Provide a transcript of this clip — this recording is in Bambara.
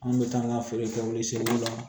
An bɛ taa an ka feere kɛ olu seliw la